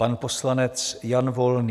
Pan poslanec Jan Volný.